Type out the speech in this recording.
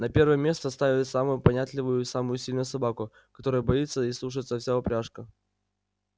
на первое место ставят самую понятливую и самую сильную собаку которую боится и слушается вся упряжка